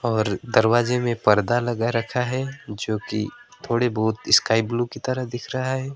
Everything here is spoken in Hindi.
और दरवाजे में पर्दा लगा रखा है जोकि थोड़े बहुत स्काई ब्लू की तरह दिख रहा है।